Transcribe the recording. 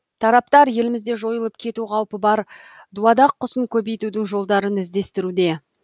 тараптар елімізде жойылып кету қаупі бар дуадақ құсын көбейтудің жолдарын іздестіруде